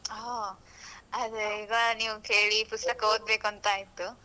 ಹಾ, ಅದೇ ಈಗ ನೀವು ಕೇಳಿ ಪುಸ್ತಕ ಓದ್ಬೇಕು ಅಂತ ಆಯ್ತು.